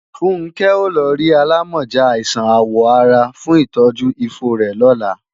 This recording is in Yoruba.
Funkẹ́ ó lọ rí alámọ̀já àìsàn àwọ̀ ara fún ìtọ́jú ifo rẹ̀ lọ́la